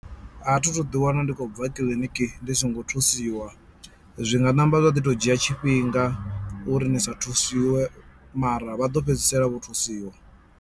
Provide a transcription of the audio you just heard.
A thi thu ḓi wana ndi khou bva kiḽiniki ndi songo thusiwa zwi nga namba zwa ḓi to dzhia tshifhinga uri ni sa thusiwe mara vha ḓo fhedzisela vho thusiwa.